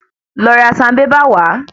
Lọ ra sanbébà wá.